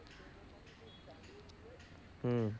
হুম।